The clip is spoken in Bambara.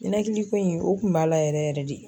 Ninakili ko in o kun b'a la yɛrɛ yɛrɛ de.